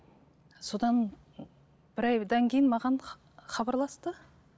содан бір айдан кейін маған хабарласты